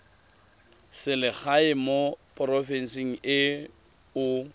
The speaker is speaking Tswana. selegae mo porofenseng e o